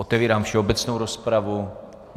Otevírám všeobecnou rozpravu.